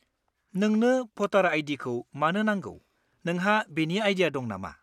नोंनो भटार आइ.डि.खौ मानो नांगौ नोंहा बेनि आइडिया दं नामा?